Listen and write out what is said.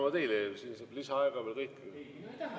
Vabandust, kas soovite lisaaega või oligi kõik?